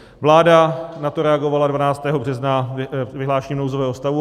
Vláda na to reagovala 12. března vyhlášením nouzového stavu.